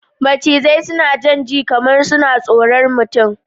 Snake slither as though they're shy